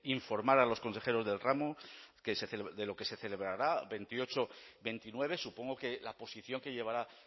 informar a los consejeros del ramo de lo que se celebrará veintiocho veintinueve supongo que la posición que llevará